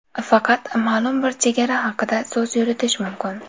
Faqat ma’lum bir chegara haqida so‘z yuritish mumkin.